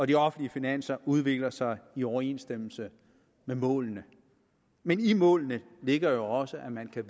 de offentlige finanser udvikler sig i overensstemmelse med målene men i målene ligger jo også at man kan